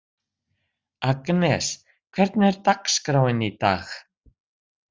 Agnes, hvernig er dagskráin í dag?